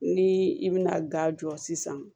Ni i bina ga jɔ sisan